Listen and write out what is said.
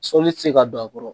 Sɔli tɛ se ka don a kɔrɔ.